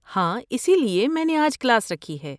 ہاں، اسی لیے میں نے آج کلاس رکھی ہے۔